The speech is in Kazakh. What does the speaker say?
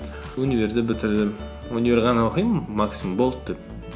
универді бітірдім универ ғана оқимын максимум болды деп